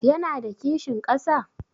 Ya na da kishin ƙasa?